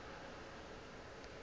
be e se motho wa